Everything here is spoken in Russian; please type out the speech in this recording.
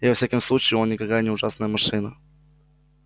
и во всяком случае он никакая не ужасная машина